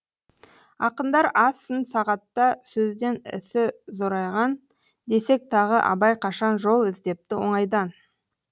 ақындар аз сын сағатта сөзден ісі зорайған десек тағы абай қашан жол іздепті оңайдан